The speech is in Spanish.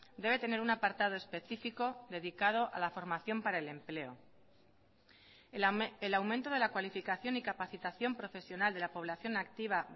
debe tener un apartado específico dedicado a la formación para el empleo el aumento de la cualificación y capacitación profesional de la población activa